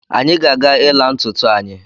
Anyị ga-aga ịla ntụtụ anyi